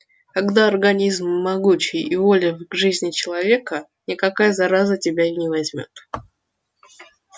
когда организм могучий и воля к жизни человека никакая зараза тебя не возьмёт